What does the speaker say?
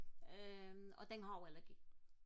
øhm og den har også allergi